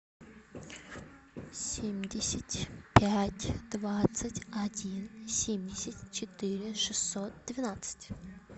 семьдесят пять двадцать один семьдесят четыре шестьсот двенадцать